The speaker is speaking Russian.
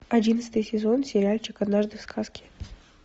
одиннадцатый сезон сериальчик однажды в сказке